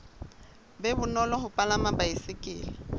be bonolo ho palama baesekele